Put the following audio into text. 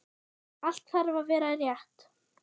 Allt þarf að vera rétt.